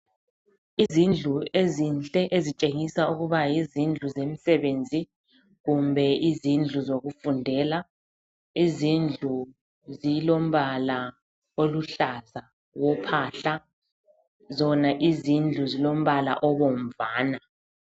Izindlu ezinhle ezitshengisa ukuba yizindlu zemsebenzi kumbe izindlu zokufundela, izindlu zilombala oluhlaza wophahla zona izindlu zilombala obomvana.